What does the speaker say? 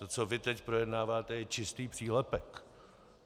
To, co vy teď projednáváte, je čistý přílepek.